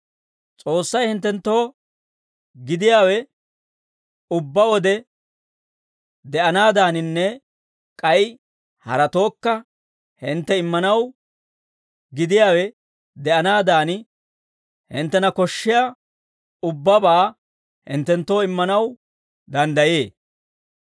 S'oossay hinttenttoo gidiyaawe ubbaa wode de'anaadaaninne k'ay haratookka hintte immanaw gidiyaawe de'anaadan hinttena koshshiyaa ubbabaa hinttenttoo immanaw danddayee.